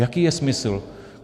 Jaký je smysl?